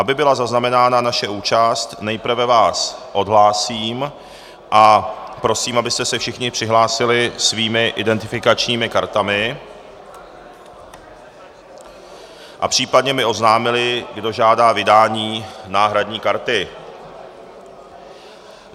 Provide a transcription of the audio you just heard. Aby byla zaznamenána naše účast, nejprve vás odhlásím a prosím, abyste se všichni přihlásili svými identifikačními kartami, případně mi oznámili, kdo žádá o vydání náhradní karty.